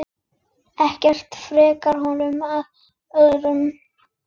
Ekkert frekar honum en öðrum.